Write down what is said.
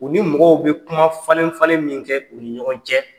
U ni mɔgɔw bɛ kuma falen falen min kɛ u ni ɲɔgɔn cɛ.